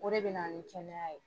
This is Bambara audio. O de bɛ na ni kɛnɛya ye.